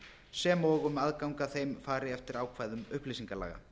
sem og að um aðgang að þeim þar fari eftir ákvæðum upplýsingalaga